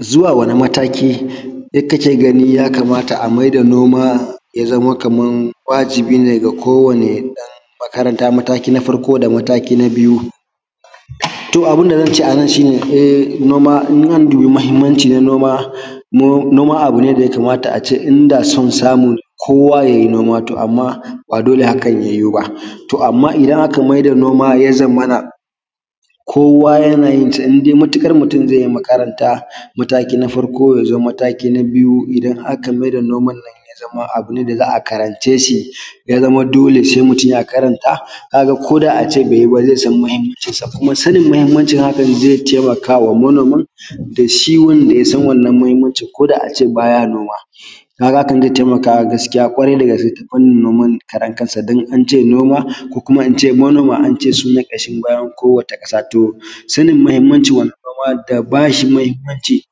Zuwa wani mataki kake gani ya kamata a maida noma ya zamo kaman wajibi ne ga kowani ɗan makaranta mataki na farko da mataki na biyu, to abun da zance a nan shine um noma in an duba mahinmanci na noma no noma abu ne da yakamata a ce inda son samu kowa ya yi noma to amma ba dole hakan ya yiwu ba to amma idan aka maida noma ya zamana kowa yana yin ta indai matuƙar mutum ze yi makaranta mataki na farko ya zo mataki na biyu idan aka maida noman nan ya zama abu ne da za a karanceshi, ya zama dole se mutum ya karanta ka ga ko da ace baiyi ba zai san mahinmancinsa, kuma sanin mahinmancin hakan zai taimakawa manomin da shi wanda ya san wannan mahinmancin koda ace baya noma. Kaga hakan zai taimaka gaskiya ƙwarai da gaske ta fannin noman karan kansa dan ance noma ko kuma ince manoma ance sune ƙashin bayan kowata ƙasa, to sanin wannna mahinmancin noma da bashi mahinmanci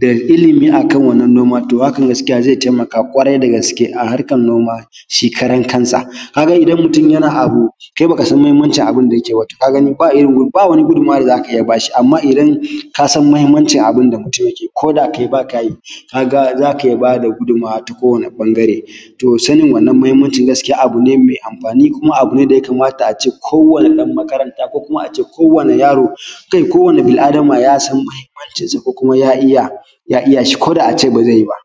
da ilimi akan wannan noma to hakam gaskiya zai taimaka kwarai da gaske a harkan noma shi karan kansa ka ga idan mutum yana abu kai bakasan muhinmancin abun da yake ba, ka ga ba wani ba wani gudunmuwa da za ka iya bashi. Amma idan ka san mahinmancin abunda mutum yakeyi ko da kai ba ka yi, ka ga za ka iya ba da gudunmuwa ta kowani ɓangare, to sanin wannan mahinmancin gaskiya abu ne me amfani kuma abu ne da yakamata a ce kowani ɗan makaranta ko kuma a ce ko wani yaro kai ko wani bil’adama ya san mahinmancin sa ko kuma ya iya shi koda a ce ba ze yi ba.